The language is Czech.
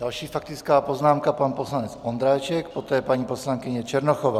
Další faktická poznámka, pan poslanec Ondráček, poté paní poslankyně Černochová.